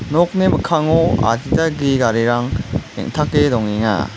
nokni mikkango adita ge garirang neng·take dongenga.